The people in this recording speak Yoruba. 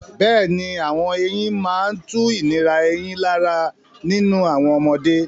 Bẹ́ẹ̀ni, àwọn eyín máa ń tu ìnira eyín lára nínú àwọn ọmọdé.